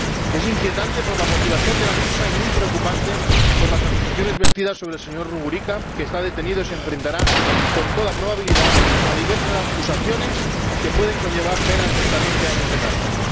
Es inquietante por la motivación de la misma y muy preocupante por las acusaciones vertidas sobre el señor Rugurika, que está detenido y se enfrentará, con toda probabilidad, a diversas acusaciones que pueden conllevar penas de hasta veinte años de cárcel.